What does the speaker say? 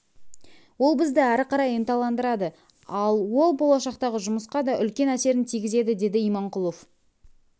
ол бізді әрі қарай ынталандырады ал ол болашақтағы жұмысқа да үлкен әсерін тигізеді деді иманқұлов